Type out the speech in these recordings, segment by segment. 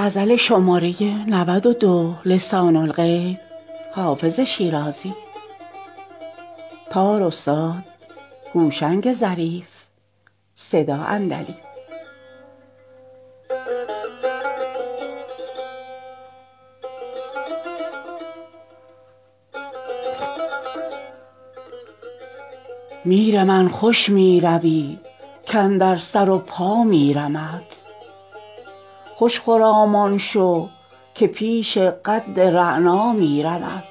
میر من خوش می روی کاندر سر و پا میرمت خوش خرامان شو که پیش قد رعنا میرمت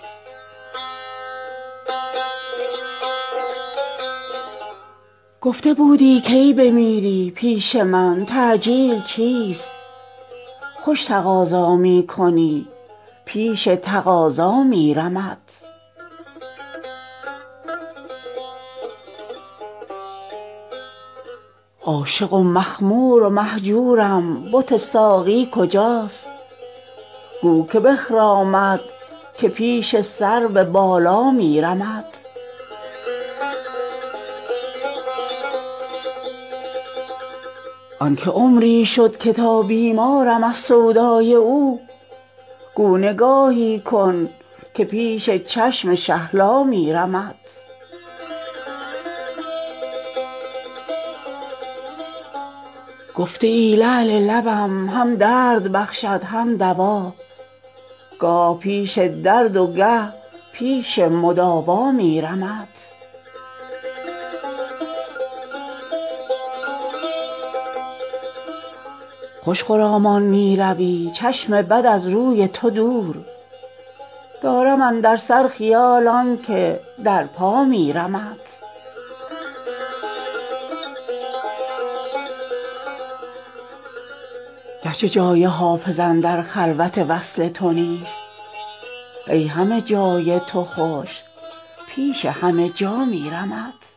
گفته بودی کی بمیری پیش من تعجیل چیست خوش تقاضا می کنی پیش تقاضا میرمت عاشق و مخمور و مهجورم بت ساقی کجاست گو که بخرامد که پیش سرو بالا میرمت آن که عمری شد که تا بیمارم از سودای او گو نگاهی کن که پیش چشم شهلا میرمت گفته ای لعل لبم هم درد بخشد هم دوا گاه پیش درد و گه پیش مداوا میرمت خوش خرامان می روی چشم بد از روی تو دور دارم اندر سر خیال آن که در پا میرمت گرچه جای حافظ اندر خلوت وصل تو نیست ای همه جای تو خوش پیش همه جا میرمت